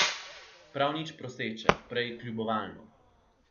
Prav nič proseče, prej kljubovalno.